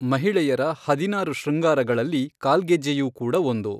ಮಹಿಳೆಯರ ಹದಿನಾರು ಶೃಂಗಾರಗಳಲ್ಲಿ ಕಾಲ್ಗೆಜ್ಜೆಯೂ ಕೂಡ ಒಂದು.